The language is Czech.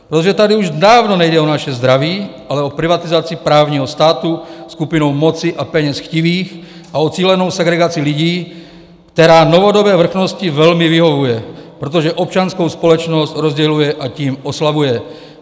Protože tady už dávno nejde o naše zdraví, ale o privatizaci právního státu skupinou moci a peněz chtivých, a o cílenou segregaci lidí, která novodobé vrchnosti velmi vyhovuje, protože občanskou společnost rozděluje, a tím oslabuje.